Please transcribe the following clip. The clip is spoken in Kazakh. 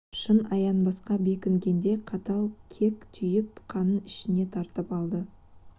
шын аянбасқа бекінгендей қатал кек түйіп қанын ішіне тартып алды